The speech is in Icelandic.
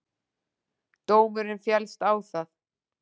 Dómurinn féllst á það